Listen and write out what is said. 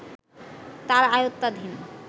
তাঁর আয়ত্তাধীন